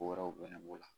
Ko wɛrɛw bɛ ne la